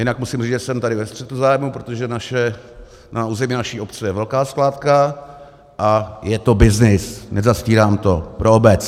Jinak musím říct, že jsem tady ve střetu zájmů, protože na území naší obce je velká skládka a je to byznys, nezastírám to, pro obec.